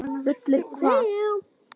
Þú sleppur ekki við það!